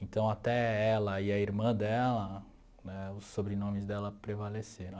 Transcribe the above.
Então até ela e a irmã dela, né, os sobrenomes dela prevaleceram.